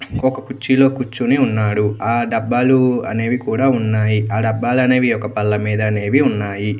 ఒక చర్చిలో క్యూర్చొని ఉన్నాడు ఆ డాబాలు అనేవి కూడా ఉన్నాయి. ఆ డాబాలు అనేవి ఒక బల్ల మీద అనేవి ఉన్నాయి.